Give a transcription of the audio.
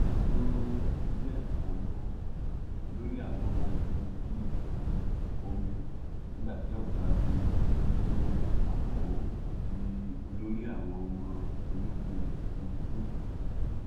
um z gambo olórí àwọn ọmọ ogun ojú um omi nígbà tí ọgágun lo amao di olórí àwọn ọmọ ológun òfurufú